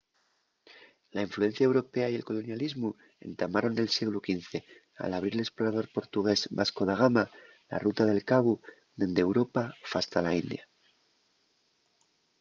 la influencia europea y el colonialismu entamaron nel sieglu xv al abrir l’esplorador portugués vasco da gama la ruta del cabu dende europa fasta la india